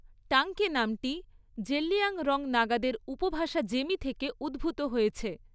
টাংকি নামটি জেলিয়াংরং নাগাদের উপভাষা জেমি থেকে উদ্ভূত হয়েছে।